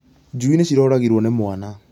Njui nĩ ciroragirwo nĩ mwana